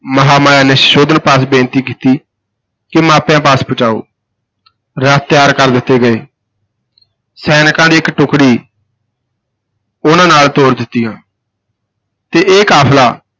ਮਹਾਂਮਾਇਆ ਨੇ ਸੁਧੋਧਨ ਪਾਸ ਬੇਨਤੀ ਕੀਤੀ ਕਿ ਮਾਪਿਆਂ ਪਾਸ ਪੁਚਾਓ ਰਥ ਤਿਆਰ ਕਰ ਦਿੱਤੇ ਗਏ ਸੈਨਿਕਾਂ ਦੀ ਇਕ ਟੁਕੜੀ ਉਨ੍ਹਾਂ ਨਾਲ ਤੋਰ ਦਿੱਤੀਆਂ ਤੇ ਇਹ ਕਾਫਲਾ